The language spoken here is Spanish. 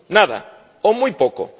Nada o muy poco.